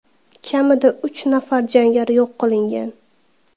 Kamida uch nafar jangari yo‘q qilingan.